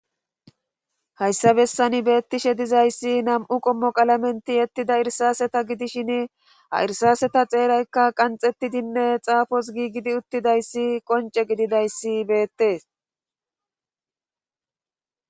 hayssa bessan beettishe dizayssi nam'u qommo qalamenti yettida irsaaseta gidishin ha irsaaseta xeeraykka qanxettidinne xaafos giigidi uttidayssi qonce gididayssi beettees